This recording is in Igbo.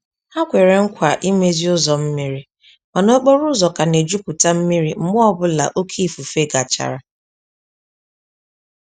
Ha kwere nkwa imezi ụzọ mmiri, mana okporo ụzọ ka na-ejuputa mmiri mgbe ọ bụla oké ifufe gachara.